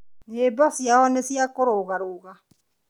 Nyĩbo ciao nĩ ciakũrũgarũga